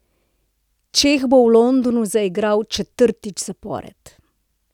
Čeh bo v Londonu zaigral četrtič zapored.